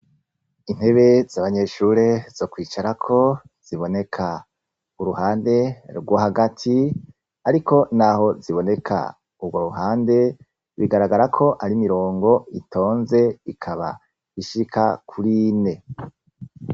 Intebe z'abanyeshure zo kwicarako ziboneka uruhande rwo hagati. Ariko naho ziboneka urwo ruhande, bigaragara ko ari imirongo itonze ikaba ishika kuri ine.